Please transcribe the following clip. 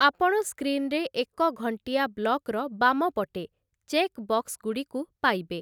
ଆପଣ ସ୍କ୍ରିନ୍‌ରେ ଏକ ଘଣ୍ଟିଆ ବ୍ଲକ୍‌ର ବାମ ପଟେ ଚେକ୍ ବକ୍ସଗୁଡ଼ିକୁ ପାଇବେ ।